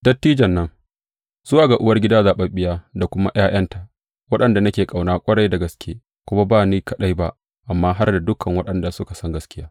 Dattijon nan, Zuwa ga uwargida zaɓaɓɓiya da kuma ’ya’yanta, waɗanda nake ƙauna ƙwarai da gaske kuma ba ni kaɗai ba, amma har da dukan waɗanda suka san gaskiya.